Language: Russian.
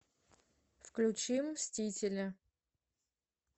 включи мстители